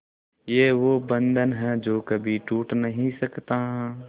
ये वो बंधन है जो कभी टूट नही सकता